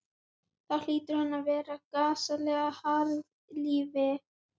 Hvað er það sem þú vilt ónáttúran þín?